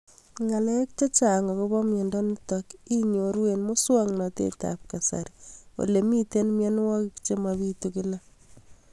Ng'alek chechang' akopo miondo nitok inyoru eng' muswog'natet ab kasari ole mito mianwek che mapitu kila